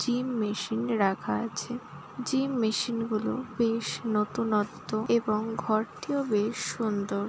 Gym machine রাখা আছে। Gym machine -গুলো বেশ নতুনত্ব এবং ঘরটিও বেশ সুন্দর।